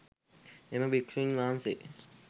එම භික්‍ෂූන් වහන්සේ